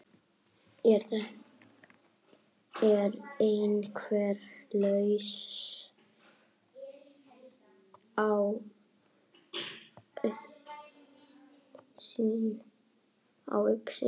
Er einhver lausn í augsýn?